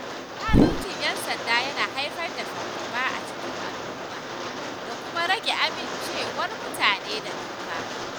Zaluncin ‘yan sanda yana haifar da fargaba a cikin al’umma, da kuma rage amincewar mutane da doka.